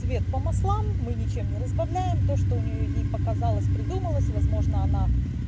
цвет по маслам мы ничем не разбавляем то что у нее ей показалось придумалось возможно она